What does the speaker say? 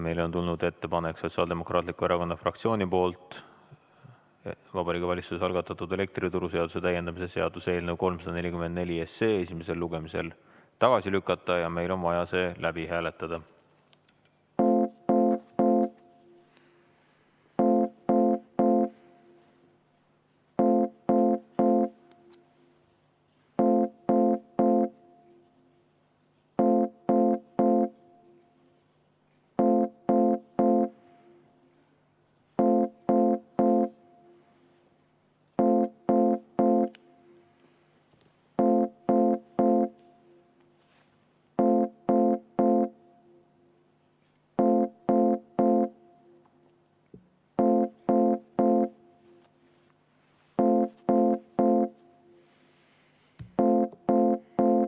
Meile on tulnud Sotsiaaldemokraatliku Erakonna fraktsioonilt ettepanek Vabariigi Valitsuse algatatud elektrituruseaduse täiendamise seaduse eelnõu 344 esimesel lugemisel tagasi lükata ja meil on vaja see läbi hääletada.